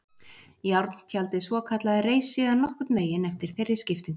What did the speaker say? Járntjaldið svokallaða reis síðan nokkurn veginn eftir þeirri skiptingu.